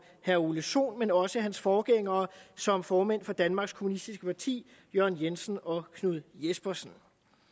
herre ole sohn men også hans forgængere som formænd for danmark kommunistiske parti jørgen jensen og knud jespersen